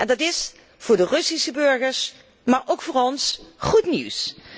Dat is voor de Russische burgers, maar ook voor ons, goed nieuws!